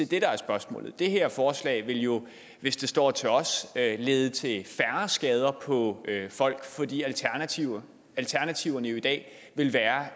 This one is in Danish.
det der er spørgsmålet det her forslag ville jo hvis det står til os lede til færre skader på folk fordi alternativerne alternativerne i dag vil være